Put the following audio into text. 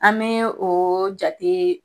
An be o jate